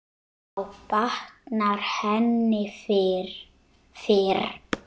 Þá batnar henni fyrr.